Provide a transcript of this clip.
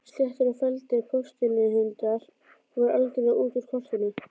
Sléttir og felldir postulínshundar voru algerlega út úr kortinu.